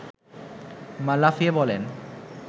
মা লাফিয়ে বলেন